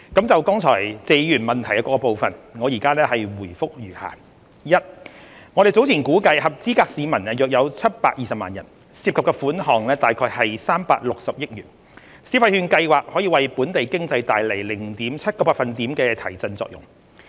就謝議員質詢的各部分，我現答覆如下：一我們早前估計合資格市民約有720萬人，涉及款項約360億元，消費券計劃可為本地經濟帶來 0.7 個百分點的提振作用。